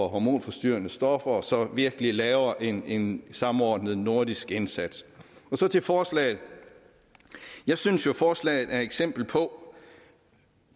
hormonforstyrrende stoffer og så virkelig laver en en samordnet nordisk indsats så til forslaget jeg synes jo at forslaget er et eksempel på